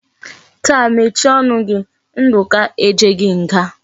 Taa mechie onu gi! Nduka ejeghi nga!